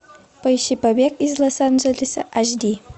поищи побег из лос анджелеса аш ди